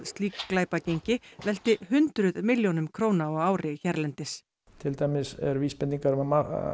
slík glæpagengi velti hundruð milljónum króna á ári hérlendis til dæmis eru vísbendingar um að